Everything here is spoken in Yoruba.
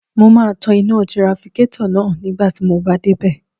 Mo máa tan iná tirafikétọ̀ náà nígbà tí mo bá dé bẹ̀